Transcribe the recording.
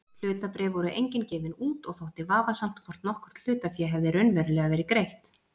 Hlutabréf voru engin gefin út og þótti vafasamt hvort nokkurt hlutafé hefði raunverulega verið greitt.